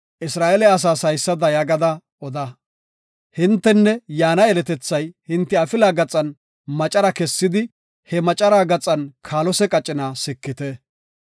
“Isra7eele asaas haysada gada oda; hintenne yaana yeletethay hinte afilaa gaxan macara kessidi he macara gaxan kaalose qacina sikite.